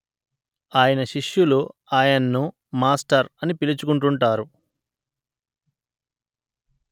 ఆయన శిష్యులు ఆయన్ను మాస్టర్ అని పిలుచుకుంటుంటారు